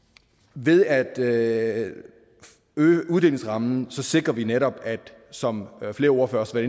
ved at øge uddelingsrammen sikrer vi netop som flere ordførere også